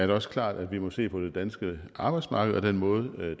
det også klart at vi må se på det danske arbejdsmarked og den måde